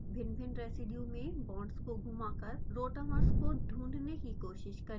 भिन्नभिन्न रेसीड्यू में बांड्स को घुमाकर rotamers को ढूँढने की कोशिश करें